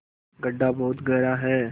गढ्ढा बहुत गहरा है